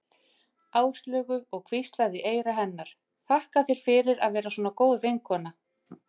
Áslaugu og hvíslaði í eyra hennar: Þakka þér fyrir að vera svona góð vinkona